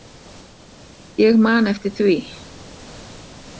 Ég man eftir því.